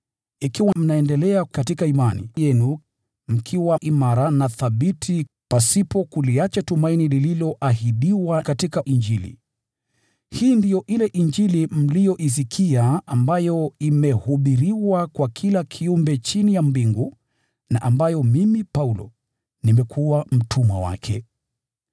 ikiwa mnaendelea katika imani yenu mkiwa imara na thabiti, pasipo kuliacha tumaini lililoahidiwa katika Injili. Hii ndiyo ile Injili mliyoisikia, ambayo imehubiriwa kwa kila kiumbe chini ya mbingu, na ambayo mimi Paulo nimekuwa mtumwa wake.